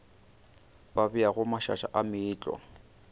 ba beago mašaša a meetlwa